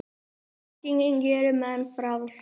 þekkingin gerir menn frjálsa